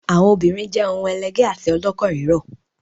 Àwọn obìnrin jẹ́ ohun ẹlẹgẹ́ àti ọlọ́kàn rírọ̀.